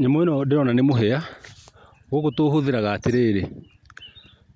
Nyamũ ĩno ndĩrona ni mũhia, gũkũ tũ ũhũthĩraga atĩrĩrĩ,